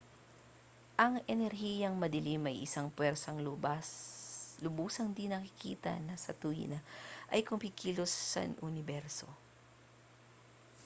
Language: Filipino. ang enerhiyang madilim ay isang pwersang lubusang di-nakikita na sa tuwina ay kumikilos sa uniberso